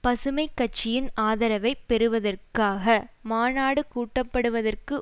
பசுமை கட்சியின் ஆதரவை பெறுவதற்காக மாநாடு கூட்டப்படுவதற்கு